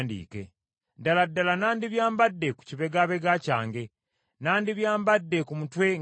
“Ddala ddala nandibyambadde ku kibegabega kyange, nandibyambadde ku mutwe ng’engule.